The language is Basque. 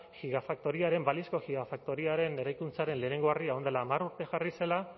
balizko gigafaktoriaren eraikuntzaren lehenengo harria orain dela hamar urte jarri zela